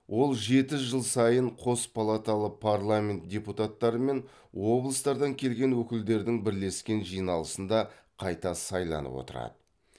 ол жеті жыл сайын қос палаталы парламент депутаттары мен облыстардан келген өкілдердің бірлескен жиналысында қайта сайланып отырады